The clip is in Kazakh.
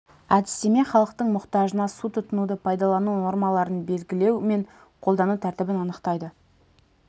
әдістеме халықтың мұқтажына су тұтынуды пайдалану нормаларын белгілеу мен қолдану тәртібін анықтайды